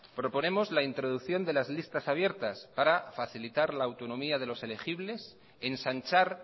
proponemos la introducción de las listas abiertas para facilitar la autonomía de los elegibles ensanchar